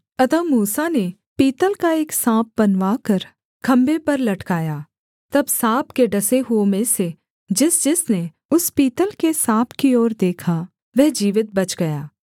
अतः मूसा ने पीतल का एक साँप बनवाकर खम्भे पर लटकाया तब साँप के डसे हुओं में से जिसजिसने उस पीतल के साँप की ओर देखा वह जीवित बच गया